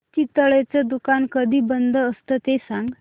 चितळेंचं दुकान कधी बंद असतं ते सांग